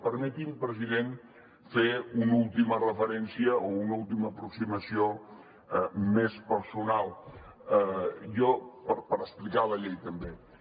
permeti’m president fer una última referència o una última aproximació més personal per explicar la llei també